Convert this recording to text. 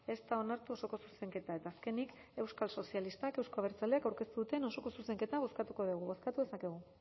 ez da onartu osoko zuzenketa eta azkenik euskal sozialistak euzko abertzaleak aurkeztu duten osoko zuzenketa bozkatuko dugu bozkatu dezakegu